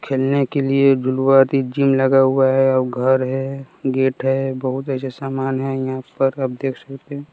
खेलने के लिए जिम लगा हुआ है और घर है गेट है बहोत ऐसे सामान है यहां पर आप देख सकते हैं।